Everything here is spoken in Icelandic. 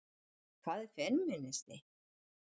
Hvað er femínismi?